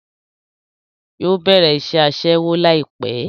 Yóò bẹ̀rẹ̀ iṣẹ́ Aṣẹ́wó láìpẹ́